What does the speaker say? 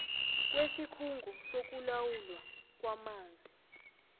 kwesikhungo sokulawulwa kwamanzi